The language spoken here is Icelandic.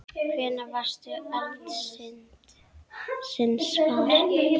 Hvenær varðstu eldsins var?